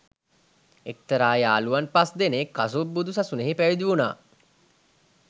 එක්තරා යහළුවන් පස් දෙනෙක් කසුප් බුදු සසුනෙහි පැවිදි වුණා